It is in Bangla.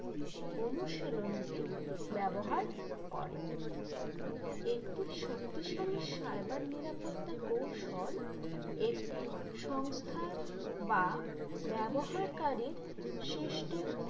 অনুশীলনটি ব্যবহার করে একটি শক্তিশালী cyber নিরাপত্তা কৌশল একটি সংস্থার বা ব্যবহারকারীর system